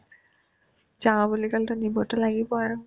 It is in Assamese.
যাও বুলি ক'লেতো নিবতো লাগিবয়ে